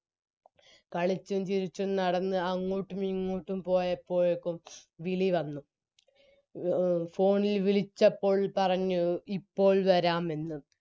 കളിച്ചും ചിരിച്ചും നടന്ന് അങ്ങോട്ടും ഇങ്ങോട്ടും പോയപ്പോഴേക്കും വിളി വന്ന് എ phone ഇൽ വിളിച്ചപ്പോൾ പറഞ്ഞു ഇപ്പോൾ വരാമെന്ന്